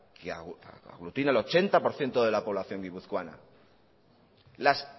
que aglutina el ochenta por ciento de la población guipuzcoana las